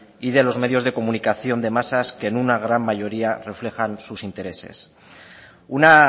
y de los medios de comunicación de masas que en una gran mayoría reflejan sus intereses una